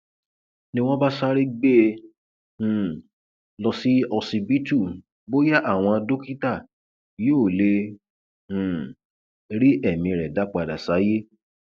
ni wọn bá sáré gbé e um lọ sí ọsibítù bóyá àwọn dókítà yóò lè um rí ẹmí rẹ dá padà sáyé